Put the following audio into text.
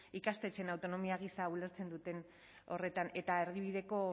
ikastetxeen autonomia gisa ulertzen duten horretan eta erdibideko